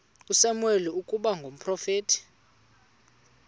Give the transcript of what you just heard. usamuweli ukuba ngumprofeti